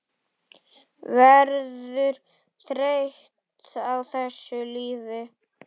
Verður þreytt á þessu lífi.